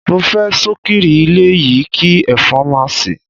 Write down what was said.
Mo fe sokiri ile yi ki efon ma si